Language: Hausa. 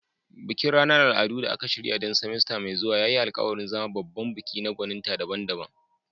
Bikin ranar al'adu da aka shirya don semester mai zuwa ya yi alkawarin zama babban bikin na gwaninta daban-daban.